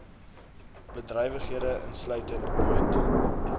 bedrywighede insluitende boot